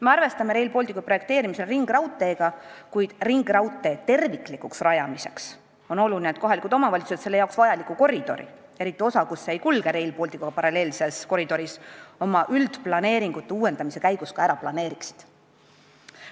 Me arvestame Rail Balticu projekteerimisel ringraudteega, kuid ringraudtee terviklikuks rajamiseks on oluline, et kohalikud omavalitsused selle jaoks vajaliku koridori, eriti osa, kus see ei kulge Rail Balticuga paralleelses koridoris, oma üldplaneeringute uuendamise käigus ka ära planeeriksid.